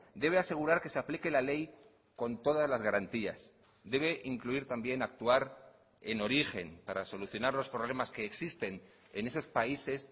debe asegurar que se aplique la ley con todas las garantías debe incluir también actuar en origen para solucionar los problemas que existen en esos países